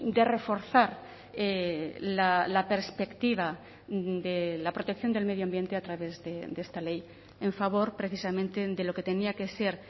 de reforzar la perspectiva de la protección del medio ambiente a través de esta ley en favor precisamente de lo que tenía que ser